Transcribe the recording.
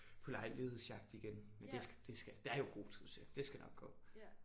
På lejlighedsjagt igen men det skal det skal der er jo god tid til det skal nok gå